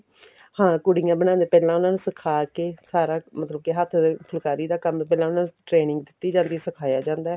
ਹਾਂ ਕੁੜੀਆਂ ਬਣਾਉਂਦੀਆਂ ਨੇ ਪਹਿਲਾਂ ਉਹਨਾ ਨੂੰ ਸਿਖਾ ਕੇ ਸਾਰਾ ਮਤਲਬ ਕੇ ਹੱਥ ਦੇ ਫੁੱਲਕਾਰੀ ਦਾ ਕੰਮ ਪਹਿਲਾਂ ਉਹਨਾ ਨੂੰ training ਦਿੱਤੀ ਜਾਂਦੀ ਆ ਸਿਖਾਇਆ ਜਾਂਦਾ